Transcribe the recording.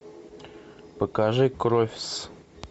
покажи кровьс